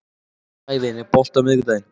Sævin, er bolti á miðvikudaginn?